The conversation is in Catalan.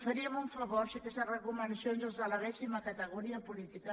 faríem un favor si aquestes recomanacions les elevéssim a categoria política